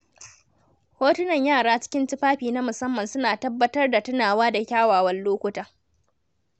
Hotunan yara cikin tufafi na musamman suna tabbatar da tunawa da kyawawan lokuta.